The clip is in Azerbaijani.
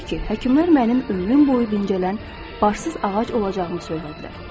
Təbii ki, həkimlər mənim ömrüm boyu dincələn başsız ağac olacağımı söylədilər.